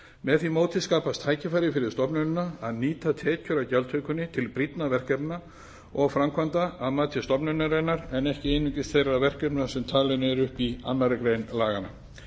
með því móti skapast tækifæri fyrir stofnunina að nýta tekjur af gjaldtökunni til brýnna verkefna og framkvæmda að mati stofnunarinnar en ekki einungis þeirra verkefna sem talin eru upp í annarri grein laganna